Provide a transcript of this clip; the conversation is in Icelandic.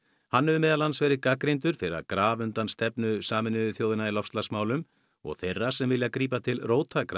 hann hefur meðal annars verið gagnrýndur fyrir að grafa undan stefnu Sameinuðu þjóðanna í loftslagsmálum og þeirra sem vilja grípa til